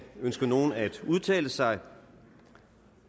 ønsker nogen at udtale sig